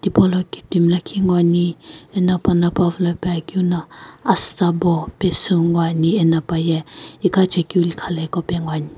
Tipaulo kiptimi lakhi ngoani ena pana pawu lo pe akeu no asutsa bo pesu ngoani eno paye iqa chekeu lükha lo iqa pe ngoani.